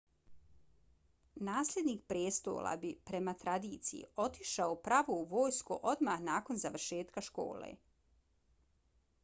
nasljednik prijestola bi prema tradiciji otišao pravo u vojsku odmah nakon završetka škole